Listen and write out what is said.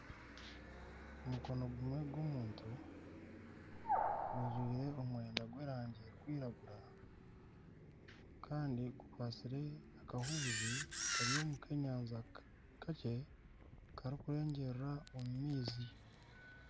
Omukono gumwe gw'omuntu gujwaire omwenda gw'erangi erikwiragura kandi gukwatsire akahuuzi kari omu k'enyanja kakye karikurengyerera omu maizi.